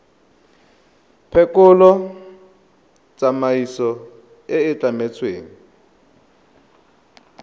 phekolo tsamaiso e e tlametsweng